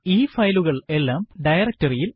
ഈ ഫയലുകൾ എല്ലാം ഡയറക്ടറി ഇൽ ഉണ്ട്